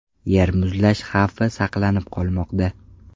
Yer muzlash xavfi saqlanib qolmoqda.